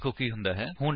ਵੇਖੋ ਕੀ ਹੁੰਦਾ ਹੈ